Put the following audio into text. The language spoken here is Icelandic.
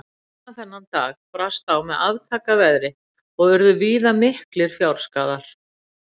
Seinna þennan dag brast á með aftaka veðri og urðu víða miklir fjárskaðar.